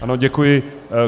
Ano, děkuji.